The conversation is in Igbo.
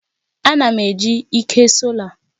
Ana m eji ike sola